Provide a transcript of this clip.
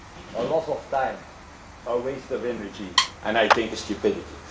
A loss of time, a waste of energy, and I think, a stupidity.